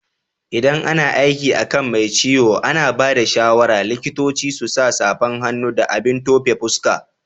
ldan ana aiki akan Mai ciwo, ana bada shawara likitoci su sa safan hannu da abin tufe fuska.